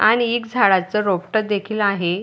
आणि एक झाडाच रोपट देखील आहे.